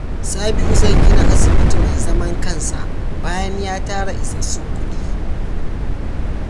Sabiu zai gina asibiti mai zaman kansa bayan ya tara isassun kuɗi.